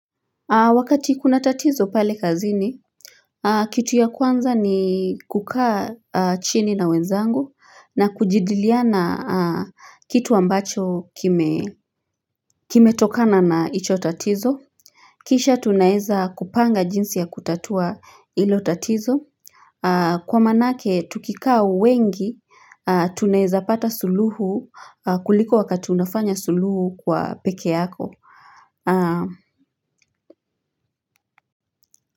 Wakati kuna tatizo pale kazini Kitu ya kwanza ni kukaa chini na wenzangu na kujidaliana kitu ambacho kime kime tokana na hicho tatizo Kisha tunaweza kupanga jinsi ya kutatua hilo tatizo Kwa manake tukikaa wengi tunaweza pata suluhu kuliko wakati unafanya suluhu kwa peke yako.